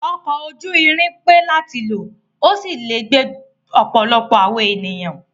Ọkọ̀ ojú irin pé láti lò, ó sì lè gbé ọ̀pọ̀lọpọ̀ àwọn ènìyàn.